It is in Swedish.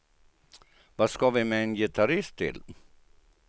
Vad ska vi med en gitarrist till.